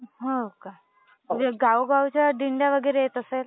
हो का? गावोगावच्या दिंड्या वगैरे येत असतील!